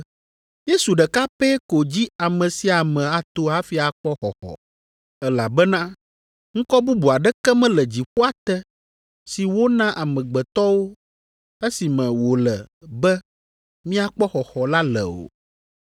Yesu ɖeka pɛ ko dzi ame sia ame ato hafi akpɔ xɔxɔ, elabena ŋkɔ bubu aɖeke mele dziƒoa te si wona amegbetɔwo, esi me wòle be míakpɔ xɔxɔ la le o.”